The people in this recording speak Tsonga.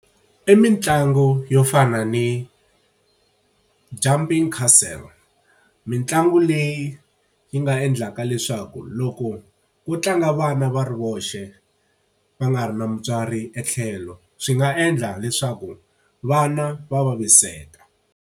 I mitlangu yo fana ni jumping castle. Mitlangu leyi yi nga endlaka leswaku loko ku tlanga vana va ri voxe, va nga ri na mutswari etlhelo swi nga endla leswaku vana va vaviseka.